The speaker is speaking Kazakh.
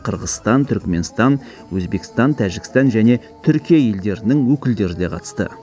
қырғызстан түрікменстан өзбекстан тәжікстан және түркия елдерінің өкілдері де қатысты